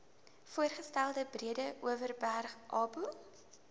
voorgestelde breedeoverberg oba